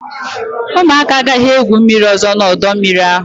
ụmụaka agaghị egwu mmiri ọzọ n'ọdọ mmiri ahụ!